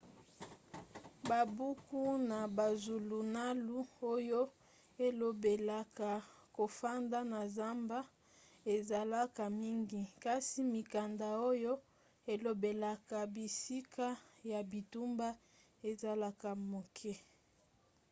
babuku na bazulunalu oyo elobelaka kofanda na zamba ezalaka mingi kasi mikanda oyo elobelaka bisika ya bitumba ezalaka moke